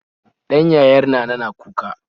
Ɗan yayar nana na kuka